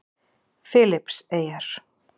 Filippseyjar